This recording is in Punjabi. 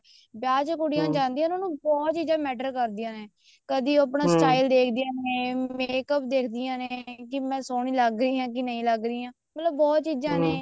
ਵਿਆਹ ਕੁੜੀਆਂ ਚ ਜਾਂਦੀਆਂ ਉਹਨਾ ਨੂੰ ਬਹੁਤ ਚੀਜ਼ਾਂ matter ਕਰਦੀਆਂ ਨੇ ਕਦੀ ਉਹ ਆਪਣਾ style ਦੇਖਦੀਆਂ ਨੇ makeup ਦੇਖਦੀਆਂ ਨੇ ਕੀ ਮੈਂ ਸੋਹਣੀ ਲੱਗ ਰਹੀ ਹਾਂ ਜਾਂ ਨਹੀਂ ਲੱਗ ਰਹੀ ਮਤਲਬ ਬਹੁਤ ਚੀਜ਼ਾਂ ਨੇ